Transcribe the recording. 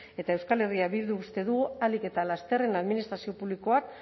eta euskal herria bilduk uste du ahalik eta lasterren administrazio publikoak